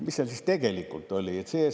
Mis seal siis tegelikult oli?